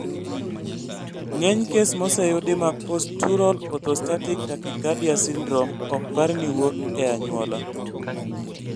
Ng'eny kes moseyudi mag postural orthostatic tachycardia syndrome ok par ni wuok e anyuola